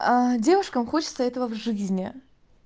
аа девушкам хочется этого в жизни